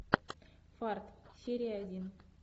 фарт серия один